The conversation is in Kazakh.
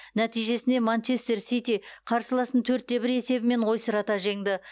нәтижесінде манчестер сити қарсыласын төрт те бір есебімен ойсырата жеңді